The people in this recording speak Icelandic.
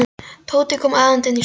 Tóti kom æðandi inn í stofuna.